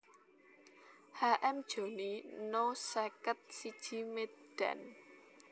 H M Jhoni No seket siji Medan